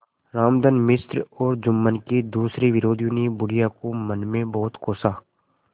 रामधन मिश्र और जुम्मन के दूसरे विरोधियों ने बुढ़िया को मन में बहुत कोसा